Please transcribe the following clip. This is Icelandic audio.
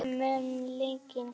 Ei mun linkind klífa fjöll.